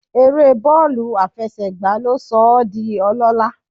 Eré bọ́ọ̀lù àfẹsẹ̀gbá ló sọ ọ́ di ọlọ́lá